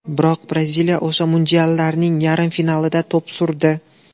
Biroq Braziliya o‘sha mundiallarning yarim finalida to‘p surdi.